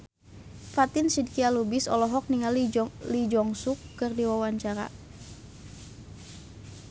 Fatin Shidqia Lubis olohok ningali Lee Jeong Suk keur diwawancara